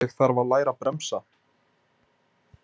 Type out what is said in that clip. Ég þarf að læra að bremsa.